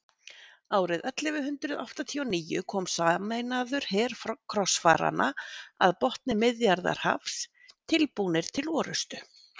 árið ellefu hundrað áttatíu og níu kom sameinaður her krossfaranna að botni miðjarðarhafs tilbúnir til orrustu